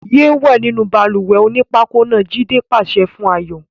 Yéé wẹ̀ nínú balùwẹ̀ onípákó náà! Jídé pàṣẹ fún Ayọ̀.